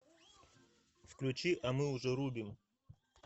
включи а мы уже рубим